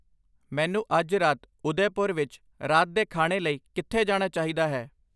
ਮੈਨੂੰ ਅੱਜ ਰਾਤ ਉਦੈਪੁਰ ਵਿੱਚ ਰਾਤ ਦੇ ਖਾਣੇ ਲਈ ਕਿੱਥੇ ਜਾਣਾ ਚਾਹੀਦਾ ਹੈ